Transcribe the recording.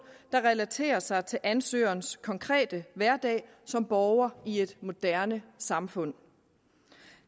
der relaterer sig til ansøgerens konkrete hverdag som borger i et moderne samfund